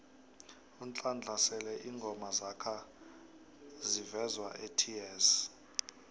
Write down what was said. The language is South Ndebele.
unhlanhla sele ingoma zakha zivezwaets